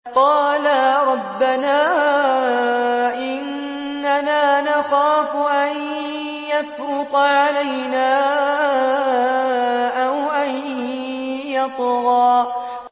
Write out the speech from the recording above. قَالَا رَبَّنَا إِنَّنَا نَخَافُ أَن يَفْرُطَ عَلَيْنَا أَوْ أَن يَطْغَىٰ